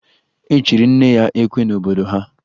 E chiri nne ya ekwe n'obodo ha